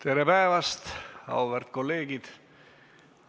Tere päevast, auväärt kolleegid!